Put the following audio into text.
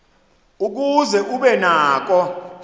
ukuze ube nako